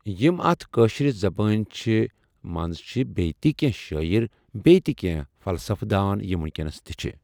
یِم اَتھ کٲشِر زبٲنۍ چھِ منٛز چھِ بیٚیہِ تہِ کیٚنٛہہ شٲیر بیٚیہِ تہِ کیٚنٛہہ فلصفہ دان یِم وٕنٛکیٚس تہِ چھِ۔